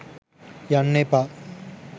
යන්න එපා.